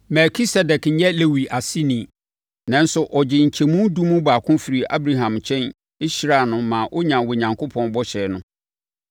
Melkisedek nyɛ Lewi aseni, nanso ɔgyee nkyɛmu edu mu baako firii Abraham nkyɛn hyiraa no maa ɔnyaa Onyankopɔn bɔhyɛ no.